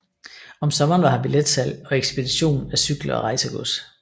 Om sommeren var her billetsalg og ekspedition af cykler og rejsegods